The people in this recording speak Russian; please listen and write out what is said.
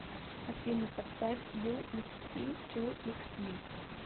афина поставь ю икс ти ту икс ми